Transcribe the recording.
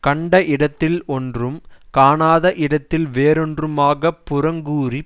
கண்ட இடத்தில் ஒன்றும் காணாத இடத்தில் வேறொன்றுமாகப் புறங்கூறி